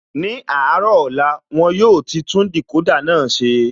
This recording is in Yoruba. Ní àárọ̀ ọ̀la, won yóò ti tún Decoder náà ṣe